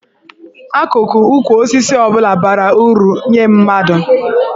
Akụkụ ukwu osisi ọ bụla bara uru nye mmadụ.